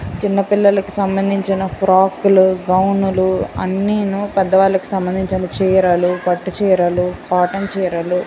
చిన్న పిల్లలికి సంబంధించిన ఫ్రాక్ లు గౌను లు అనీను పెద్దవాళ్ళకి సంబంధించిన చీరలు పట్టు చీరలు కాటన్ చీరలు --